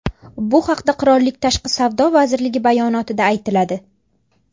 Bu haqda qirollik tashqi savdo vazirligi bayonotida aytiladi.